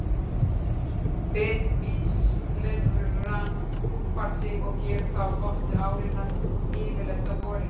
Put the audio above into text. Bitmýslirfan púpar sig og gerir það á botni árinnar, yfirleitt á vorin.